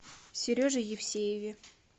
сереже евсееве